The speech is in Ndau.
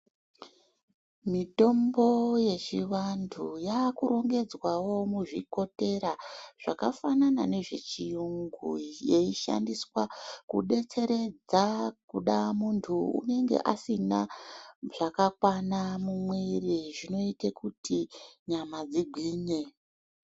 Mitombo yechivantu yakurongedzwawo muzvikotera zvakafanana nezvechiyungu zveishandiswa kubetseredza kuda muntu unenga asina zvakakwana mumwiri zvinoite kuti nyama dzigwinye .